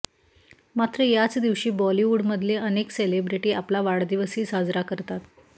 मात्र याच दिवशी बॉलिवूडमधले अनेक सेलिब्रेटी आपला वाढदिवसही साजरा करतात